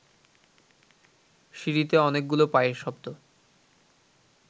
সিঁড়িতে অনেকগুলো পায়ের শব্দ